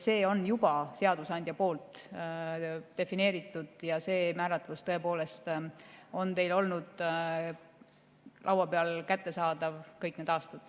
See on seadusandjal juba defineeritud ja see määratlus on olnud teil laua peal kättesaadav kõik need aastad.